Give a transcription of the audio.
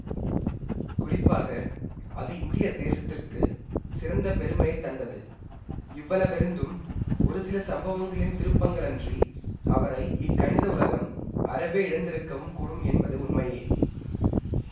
குறிப்பாக அது இந்திய தேசத்திற்குச் சிறந்த பெருமையை தந்தது இவ்வளவிருந்தும் ஒரு சில சம்பவங்களின் திருப்பங்களன்றி அவரை இக்கணித உலகம் அறவே இழந்திருக்கவும் கூடும் என்பதும் உண்மையே